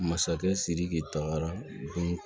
Masakɛ sidiki taara